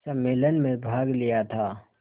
सम्मेलन में भाग लिया था